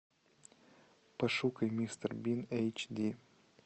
пошукай мистер бин эйч ди